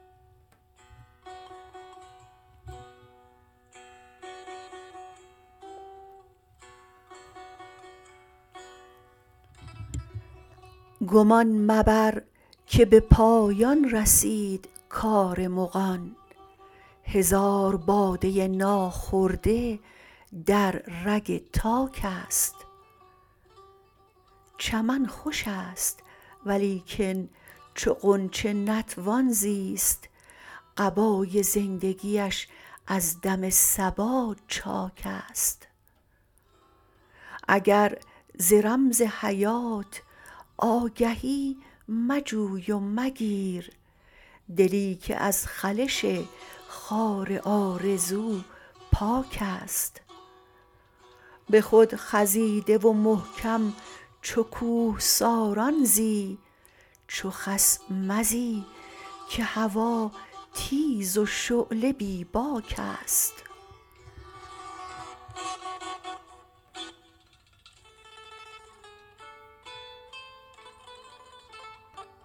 گمان مبر که به پایان رسید کار مغان هزار باده ناخورده در رگ تاک است چمن خوش است ولیکن چو غنچه نتوان زیست قبای زندگیش از دم صبا چاک است اگر ز رمز حیات آگهی مجوی و مگیر دلی که از خلش خار آرزو پاک است به خود خزیده و محکم چو کوهساران زی چو خس مزی که هوا تیز و شعله بی باک است